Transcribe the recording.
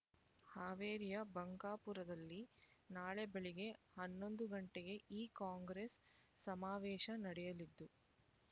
ಹಾವೇರಿಯ ಬಂಕಾಪುರದಲ್ಲಿ ನಾಳೆ ಬೆಳಿಗ್ಗೆ ಹನ್ನೊಂದು ಗಂಟೆಗೆ ಈ ಕಾಂಗ್ರೆಸ್ ಸಮಾವೇಶ ನಡೆಯಲಿದ್ದು